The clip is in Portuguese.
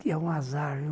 Que é um azar, viu?